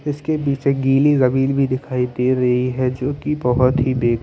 इसके बीच में गीली जमीन भी दिखाई दे रही हैं जोकी बहुत ही बे--